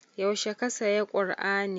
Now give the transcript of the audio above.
Yaushe ka saya kur'ani?